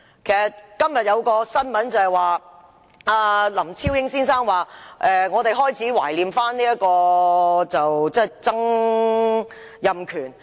今天有一篇新聞，指林超英先生表示開始懷念曾蔭權。